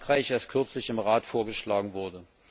von Frankreich erst kürzlich im Rat vorgeschlagen wurde.